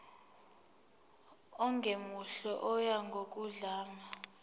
ongemuhle oya ngokudlanga